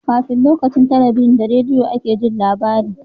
Kafin lokacin talabijin da rediyo a ke Jin labari